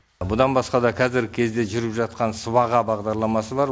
бұдан басқада қазіргі кезде жүргізіліп жатқан сыбаға бағдарламасы бар